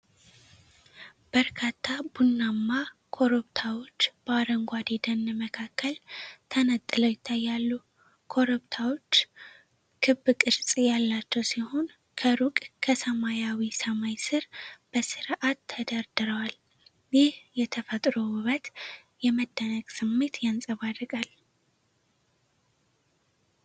በርካታ ቡናማ ኮረብታዎች በአረንጓዴ ደን መካከል ተነጥለው ይታያሉ። ኮረብታዎቹ ክብ ቅርጽ ያላቸው ሲሆን፣ ከሩቅ ከሰማያዊ ሰማይ ስር በሥርዓት ተደርድረዋል። ይህ የተፈጥሮ ውበት የመደነቅ ስሜት ያንጸባርቃል።